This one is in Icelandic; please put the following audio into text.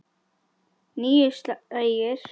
Níu slagir.